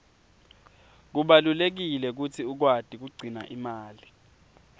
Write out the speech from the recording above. kubalulekile kutsi ukwati kugcina imali